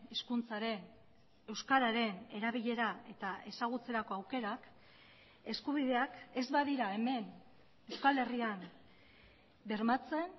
hizkuntzaren euskararen erabilera eta ezagutzerako aukerak eskubideak ez badira hemen euskal herrian bermatzen